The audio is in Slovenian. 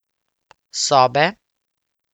Sobe?